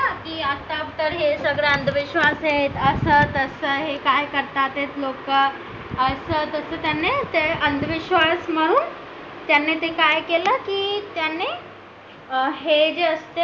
की आता तर हे सगळं अंधविश्वास आहेत असं तसं हे काय करता ते लोक त्यांनी अंधविश्वास म्हणून त्याने ते काय केलं की त्याने हे जे असते ना